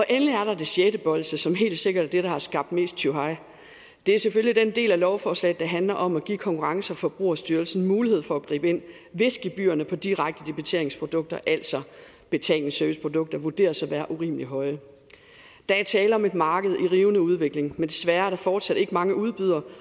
endelig er der det sjette bolsje som helt sikkert er det der har skabt mest tjuhej det er selvfølgelig den del af lovforslaget der handler om at give konkurrence og forbrugerstyrelsen mulighed for at gribe ind hvis gebyrerne på direkte debiteringsprodukter altså betalingsserviceprodukter vurderes at være urimelig høje der er tale om et marked i rivende udvikling men desværre er der fortsat ikke mange udbydere